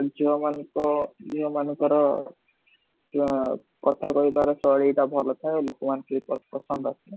ଝିଅ ମାନଙ୍କ ଝିଅ ମାନଙ୍କର ଅ କଥା କହିବା ର ସାଇଲି ଟା ଭଲ ଥାଏ ଆଉ ଲୋକ ମାନଙ୍କୁ ସେତ ସେଟା ପସନ୍ଦ ଆସେ